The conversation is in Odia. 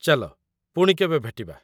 ଚାଲ, ପୁଣି କେବେ ଭେଟିବା।